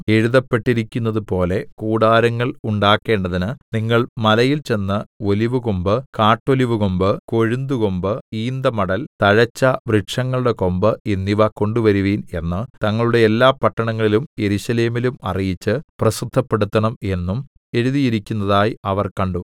എഴുതപ്പെട്ടിരിക്കുന്നതുപോലെ കൂടാരങ്ങൾ ഉണ്ടാക്കേണ്ടതിന് നിങ്ങൾ മലയിൽ ചെന്ന് ഒലിവുകൊമ്പ് കാട്ടൊലിവുകൊമ്പ് കൊഴുന്തുകൊമ്പ് ഈന്തമടൽ തഴച്ച വൃക്ഷങ്ങളുടെ കൊമ്പ് എന്നിവ കൊണ്ടുവരുവിൻ എന്ന് തങ്ങളുടെ എല്ലാ പട്ടണങ്ങളിലും യെരൂശലേമിലും അറിയിച്ച് പ്രസിദ്ധപ്പെടുത്തണം എന്നും എഴുതിയിരിക്കുന്നതായി അവർ കണ്ടു